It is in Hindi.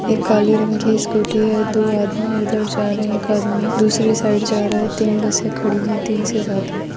एक काली रंग की स्कूटी है दो आदमी उधर जा रहे है एक आदमी दूसरी साइड जा रहा है तीन बसे खड़ी है तीन से ज्यादा।